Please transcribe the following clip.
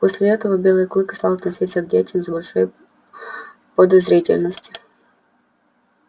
после этого белый клык стал относиться к детям с большой подозрительностью